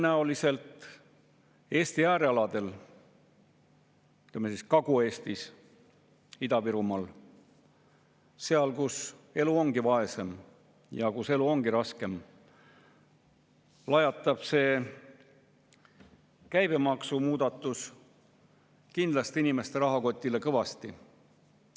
Tõenäoliselt Eesti äärealadel, ütleme, Kagu-Eestis, Ida-Virumaal – seal, kus elu ongi vaesem ja kus elu ongi raskem –, lajatab see käibemaksumuudatus kindlasti inimeste rahakotile kõvasti.